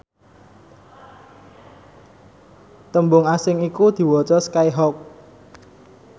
tembung asing iku diwaca skyhawk